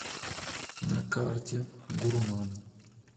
на карте гурман